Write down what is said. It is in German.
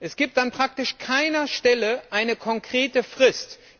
Es gibt an praktisch keiner Stelle eine konkrete Frist.